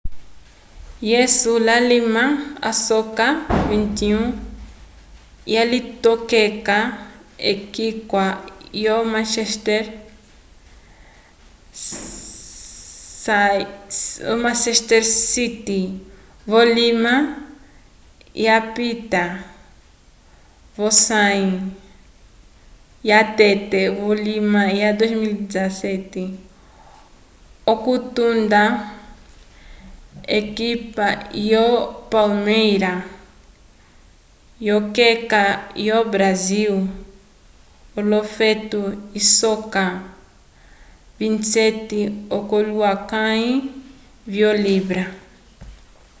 jesus lalima asoka 21 walitokeka k'ekika lyo manchester city vulima wapita vosãyi yatete vulima wa 2017 okutunda v'ekipa lyo palmeira yokeka yo-brasil l'ofeto isoka 27 k'olohulukãyi vyo-libra